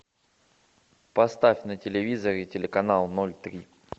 поставь на телевизоре телеканал ноль три